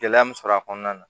Gɛlɛya min sɔrɔ a kɔnɔna na